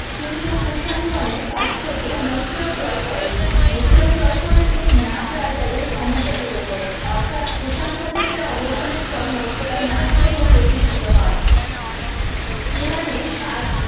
কিন্তু কুষাণ গনের কাছ থেকে মুথুরা জয় করেননি মুথুরা জয় করে ছিলেন নাগ রাজাদের ক্ষমতা চ্যুত করে অর্থাৎ কুষাণ শাসকেরা অবসানের পর মুথুরাই নাগ প্রভুর প্রতিষ্ঠিত হয় পুরানে সাল